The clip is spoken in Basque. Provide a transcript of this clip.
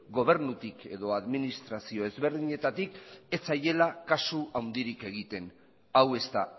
gobernutik edo administrazio ezberdinetatik ez zaiela kasu handirik egiten hau ez da